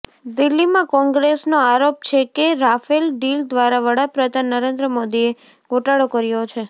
દિલ્હીમાં કોંગ્રેસનો આરોપ છે કે રાફેલ ડીલ દ્વારા વડાપ્રધાન નરેન્દ્ર મોદીએ ગોટાળો કર્યો છે